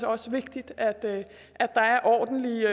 også vigtigt at der er ordentlige